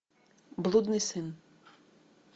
блудный сын